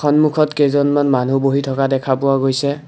সন্মুখত কেইজনমান মানুহ বহি থকা দেখা পোৱা গৈছে।